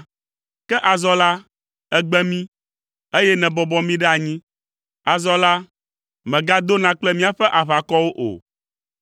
Ke azɔ la, ègbe mí, eye nèbɔbɔ mí ɖe anyi; azɔ la, mègadona kple míaƒe aʋakɔwo o.